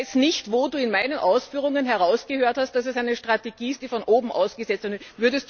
Ich weiß nicht, wo Du in meinen Ausführungen herausgehört hast, dass es eine Strategie ist, die von oben aus gesetzt ist.